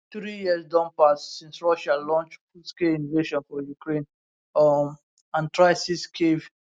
three years don pass since russia launch fullscale invasion for ukraine um and try seize kyiv